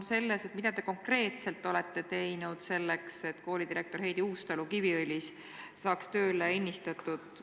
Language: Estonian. Aga mida te konkreetselt olete teinud selleks, et Kiviõli kooli direktor Heidi Uustalu saaks tööle ennistatud?